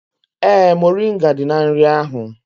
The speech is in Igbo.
Ee, moringa dị na nri ahụ